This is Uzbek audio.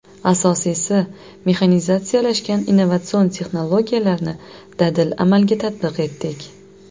Asosiysi, mexanizatsiyalashgan innovatsion texnologiyalarni dadil amalga tatbiq etdik.